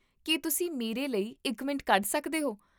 ਕੀ ਤੁਸੀਂ ਮੇਰੇ ਲਈ ਇੱਕ ਮਿੰਟ ਕੱਢ ਸਕਦੇ ਹੋ?